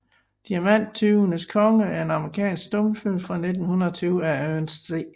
Diamanttyvenes Konge er en amerikansk stumfilm fra 1920 af Ernest C